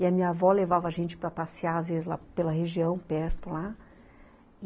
E a minha avó levava a gente para passear, às vezes, pela região perto lá.